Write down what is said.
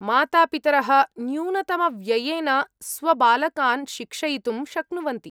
मातापितरः न्यूनतमव्ययेन स्वबालकान् शिक्षयितुं शक्नुवन्ति।